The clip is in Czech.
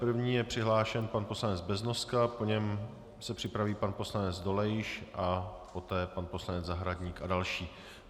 První je přihlášen pan poslanec Beznoska, po něm se připraví pan poslanec Dolejš a poté pan poslanec Zahradník a další.